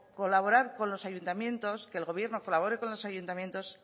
colaborar con los ayuntamientos que el gobierno colabore con los ayuntamientos